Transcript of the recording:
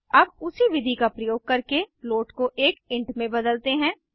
अब उसी विधि का प्रयोग करके फ्लोट को एक इंट में बदलते हैं